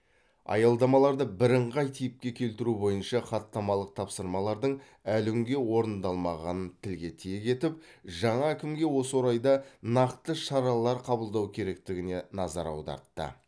аялдамаларды бірыңғай типке келтіру бойынша хаттамалық тапсырмалардың әлі күнге орындалмағанын тілге тиек етіп жаңа әкімге осы орайда нақты шаралар қабылдау керектігіне назар аудартты